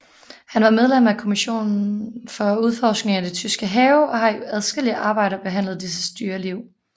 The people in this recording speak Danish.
Han var medlem af kommissionen for udforskningen af de tyske have og har i adskillige arbejder behandlet disses dyreliv